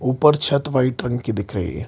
ऊपर छत व्हाइट रंग की दिख रही है।